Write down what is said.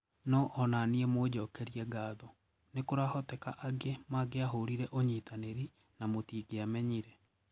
Noo ona nie mũnjokerie ngatho, nikurahotekeka angi mangiahurire unyitaniri na mutingiamenyire